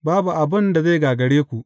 Babu abin da zai gagare ku.